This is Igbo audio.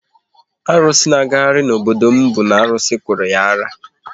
Asịrị na agagharị n'obodo m bụ na arụsị kụrụ ya ara